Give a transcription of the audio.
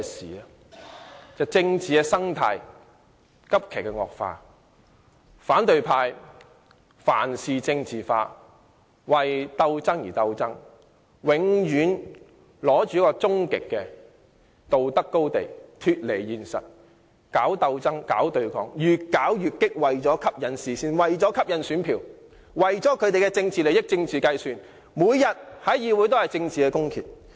就是政治生態急劇惡化，反對派凡事政治化，為鬥爭而鬥爭，永遠站在終極道德高地，脫離現實，搞鬥爭、搞對抗，越搞越激；為了吸引視線和選票，為了一己政治利益和政治計算，每天在議會進行政治公決。